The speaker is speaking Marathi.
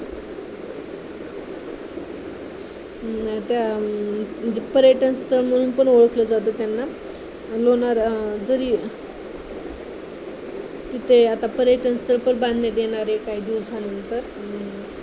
त्या म्हणजे पर्यटनस्थळ म्हणून पण ओळखलं जात त्यांना लोणार जरी तिथं आता पर्यटनस्थळ पण बांधण्यात येणार आहे काही दिवसांनंतर